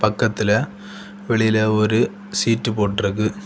பக்கத்துல வெளில ஒரு சீட்டு போட்டுருக்கு.